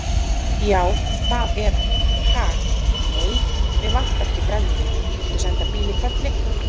Já, það er hann, ha, nei, mig vantar ekki brennivín, viltu senda bíl í hvelli.